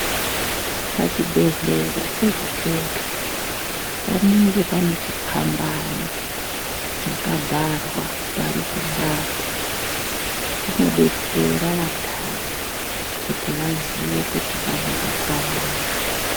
Pachibhedhlera pega-pega panenge pane chipambano chakabharwa parukubati, chinodetsera vantani kuti vaziye kuti panorapwa antu.